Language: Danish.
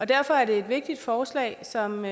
derfor er det et vigtigt forslag som